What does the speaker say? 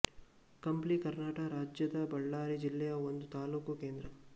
ಕಂಪ್ಲಿ ಕರ್ನಾಟಕ ರಾಜ್ಯದ ಬಳ್ಳಾರಿ ಜಿಲ್ಲೆಯ ಒಂದು ತಾಲೂಕು ಕೇಂದ್ರ